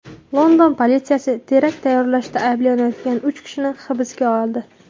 London politsiyasi terakt tayyorlashda ayblanayotgan uch kishini hibsga oldi.